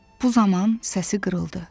Bu zaman səsi qırıldı.